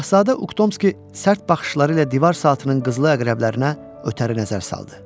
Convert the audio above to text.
Şahzadə Uktomski sərt baxışları ilə divar saatının qızıl əqrəblərinə ötəri nəzər saldı.